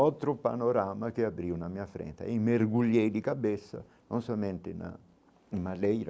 Outro panorama que abriu na minha frente e mergulhei de cabeça, não somente na em madeira.